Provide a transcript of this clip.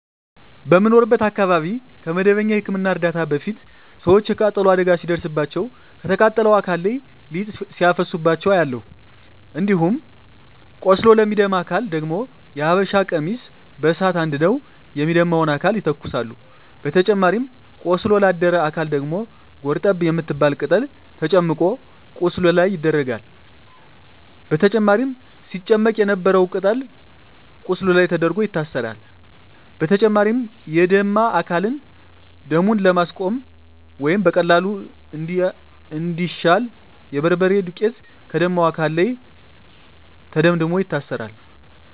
በምኖርበት አካባቢ ከመደበኛ የህክምና እርዳታ በፊት ሰወች የቃጠሎ አደጋ ሲደርስባቸው ከተቃጠለው አካል ላይ ሊጥ ሲያፈሱባቸው አያለሁ። እንዲሁም ቆስሎ ለሚደማ አካል ደግሞ የሀበሻ ቀሚስ በሳት አንድደው የሚደማውን አካል ይተኩሳሉ በተጨማሪም ቆስሎ ላደረ አካል ደግሞ ጎርጠብ የምትባል ቅጠል ተጨምቆ ቁስሉ ላይ ይደረጋል በመጨረም ሲጨመቅ የነበረው ቅጠል ቁስሉ ላይ ተደርጎ ይታሰራል። በተጨማሪም የደማ አካልን ደሙን ለማስቆመረ ወይም በቀላሉ እንዲያሽ የበርበሬ ዱቄት ከደማው አካል ላይ ተደምድሞ ይታሰራል።